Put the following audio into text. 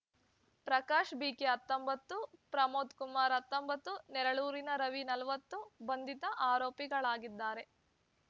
Prakash B K ಹತ್ತೊಂಬತ್ತು ಪ್ರಮೋದ್ ಕುಮಾರ್ ಹತ್ತೊಂಬತ್ತು ನೆರಳೂರಿನ ರವಿ ನಲವತ್ತು ಬಂಧಿತ ಆರೋಪಿಗಳಾಗಿದ್ದಾರೆ